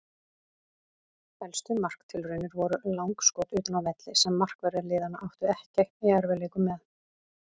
Helstu marktilraunir voru langskot utan af velli sem markverðir liðanna áttu ekki í erfiðleikum með.